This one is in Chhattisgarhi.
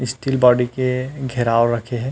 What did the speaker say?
स्टील बॉडी के घेराव रखे हे।